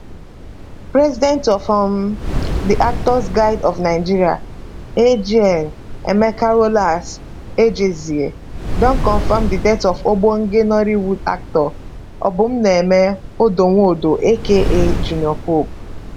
president of um di actors guild of nigeria agn emeka rollas ejezie don confam di death of ogbonge nollywood actor obumneme odonwodo aka junior pope